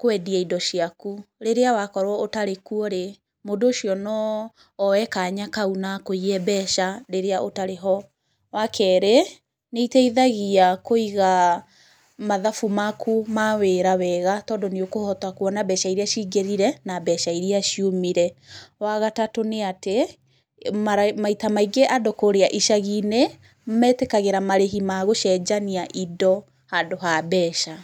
kwendia indo ciaku. Rĩrĩa wakorwo ũtarĩ kuo-rĩ, mũndũ ũcio no oe kanya kau na akũiye mbeca rĩrĩa ũtarĩ ho. Wakerĩ nĩ iteithagia kũiga mathabu maku ma wĩra wega tondũ nĩũkũhota kwona mbeca iria cingĩrire na mbeca iria ciumire. Wa gatatũ nĩ atĩ mara, maita maingĩ andũ kũũrĩa icagi-inĩ metikagĩra marĩhi ma gũcenjania indo handũ ha mbeca.